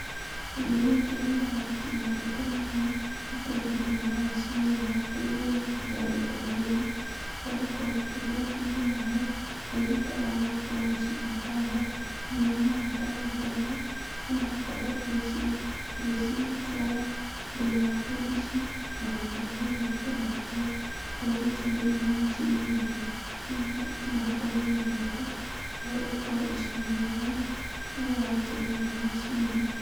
Kĩndũ gĩkĩ nĩgetha gĩtigathũke naihenya, gĩikagio thĩinĩ wa macini ĩrĩa ya kũgiria irio itigathũke naihenya, ũgakorwo ũkĩruga iria ũrarĩa, na iria ũtararĩa ũgakorwo ũgĩcibanga wega thĩinĩ wa maratathi ta maya, ũgakorwo ũgĩciĩkĩraga thĩinĩ wa tũndici, onakana thĩinĩ wa tũmaratathi, ũgakorwo ũgĩikia thĩinĩ wa macini-inĩ ĩyo, nĩgetha itigakorwo igĩthũka, ũgagĩkorwo ũcimenyereire rĩrĩa waikia thĩiniĩ wa macini ĩyo.